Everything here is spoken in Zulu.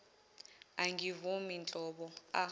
angivumi nhlobo a